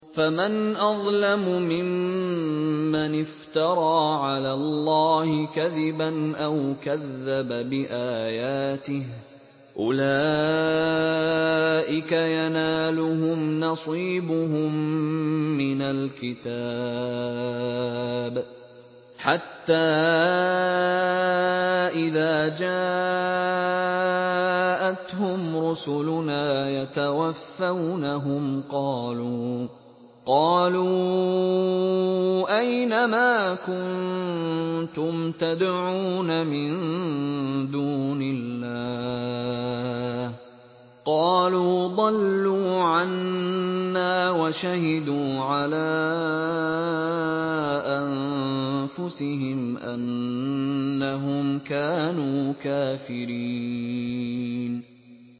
فَمَنْ أَظْلَمُ مِمَّنِ افْتَرَىٰ عَلَى اللَّهِ كَذِبًا أَوْ كَذَّبَ بِآيَاتِهِ ۚ أُولَٰئِكَ يَنَالُهُمْ نَصِيبُهُم مِّنَ الْكِتَابِ ۖ حَتَّىٰ إِذَا جَاءَتْهُمْ رُسُلُنَا يَتَوَفَّوْنَهُمْ قَالُوا أَيْنَ مَا كُنتُمْ تَدْعُونَ مِن دُونِ اللَّهِ ۖ قَالُوا ضَلُّوا عَنَّا وَشَهِدُوا عَلَىٰ أَنفُسِهِمْ أَنَّهُمْ كَانُوا كَافِرِينَ